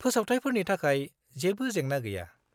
फोसावथायफोरनि थाखाय जेबो जेंना गैया।